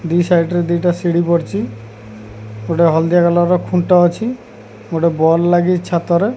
ଦୁଇ ସାଇଡି ଦିଟା ଶିଢି ପଡ଼ିଛି ଗୋଟେ ହଳଦିଆ କଲର୍ ଖୁଣ୍ଟ ଅଛି ଗୋଟେ ବଲ ଲାଗିଛି ଛାତ।